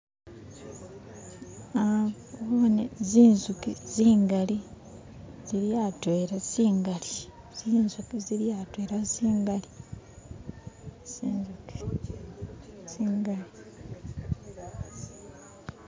nabone zinzuki zingali zili atwela zingali zinzuki zili atwela zingali , zinzuki zingali.